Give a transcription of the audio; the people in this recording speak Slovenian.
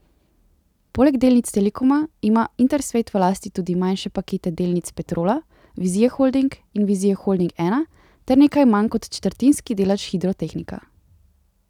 Poleg delnic Telekoma ima Intersvet v lasti tudi manjše pakete delnic Petrola, Vizije Holding in Vizije Holding Ena ter nekaj manj kot četrtinski delež Hidrotehnika.